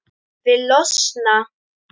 Vil losna.